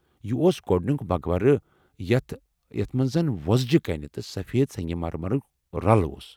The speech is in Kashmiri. یہ اوس گۄڑنُیک مقبرٕ یتھ ، یتھ منزَن وۄزجہ کَنہ تہٕ سفید سنٛگہ مرمرُک رلہٕ اوس ۔